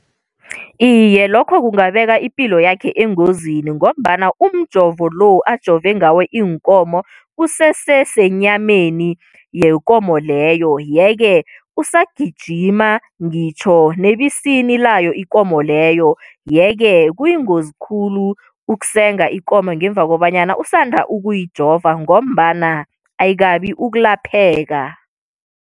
Iye, lokho kungabeka ipilo yakhe engozini, ngombana umjovo lo ajove ngawo iinkomo usese senyameni yekomo leyo, ye-ke usagijima ngitjho nebisini layo ikomo leyo. Ye-ke kuyingozi khulu ukusenga ikomo ngemva kobanyana usanda ukuyijova, ngombana ayikabi ukulapheka.